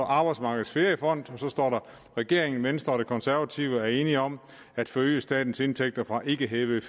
arbejdsmarkedets feriefond står regeringen venstre og det konservative folkeparti er enige om at forøge statens indtægter fra ikke hævede